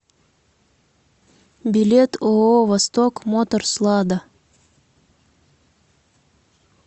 билет ооо восток моторс лада